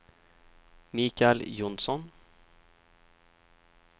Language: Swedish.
Michael Johnsson